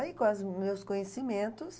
Aí, com as meus conhecimentos...